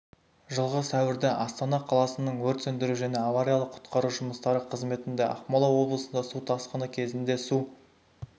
жылғы сәуірде астана қаласының өрт сөндіру және авариялық-құтқару жұмыстары қызметінде ақмола облысында су тасқыны кезінде су